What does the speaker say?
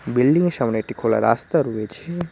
Building -এর সামনে একটি খোলা রাস্তা রয়েছে।